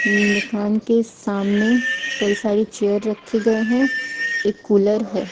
दुकान के सामने कई सारी चेयर रखे गए हैं। एक कूलर है।